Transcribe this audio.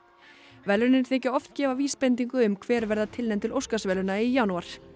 verðlaunin þykja oft gefa vísbendingu um hver verða tilnefnd til Óskarsverðlauna í janúar